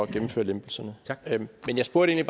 gennemføre lempelserne men jeg spurgte